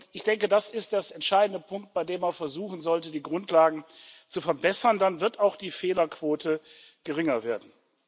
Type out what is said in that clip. Ich denke, das ist der entscheidende Punkt, bei dem man auch versuchen sollte, die Grundlagen zu verbessern, dann wird auch die Fehlerquote geringer werden.